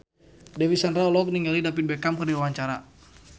Dewi Sandra olohok ningali David Beckham keur diwawancara